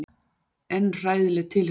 En hræðileg tilhugsun.